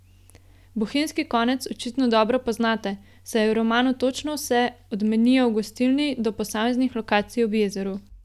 Bohinjski konec očitno dobro poznate, saj je v romanu točno vse, od menija v gostilni do posameznih lokacij ob jezeru.